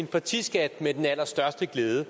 partiskat med den allerstørste glæde